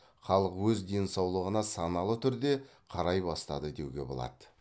халық өз денсаулығына саналы түрде қарай бастады деуге болады